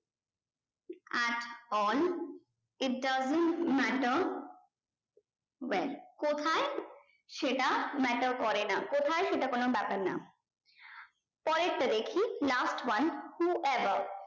at all if dose't matter anything wave কোথায় সেটা matter করে না কোথায় সেটা কোনো ব্যাপার না পরের টা দেখি last one who above